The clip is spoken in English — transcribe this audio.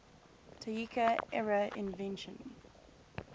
taika era innovation